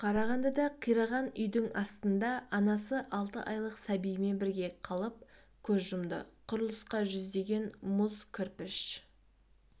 қарағандыда қираған үйдің астында анасы алты айлық сәбиімен бірге қалып көз жұмды құрылысқа жүздеген мұз кірпіш